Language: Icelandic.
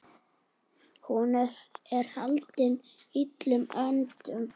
Hún er haldin illum öndum.